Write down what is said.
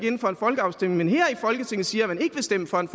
ind for en folkeafstemning her i folketinget siger at man ikke vil stemme for en